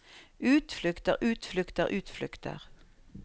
utflukter utflukter utflukter